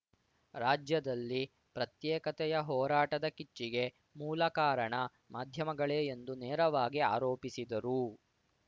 ರಾಜ್ಯದಲ್ಲಿ ಪ್ರತ್ಯೇಕತೆಯ ಹೋರಾಟದ ಕಿಚ್ಚಿಗೆ ಮೂಲ ಕಾರಣ ಮಾಧ್ಯಮಗಳೇ ಎಂದು ನೇರವಾಗಿ ಆರೋಪಿಸಿದರು